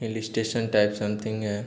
हिल station type something है।